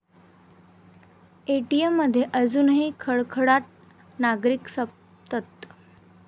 एटीएममध्ये अजूनही खडखडाट, नागरिक संतप्त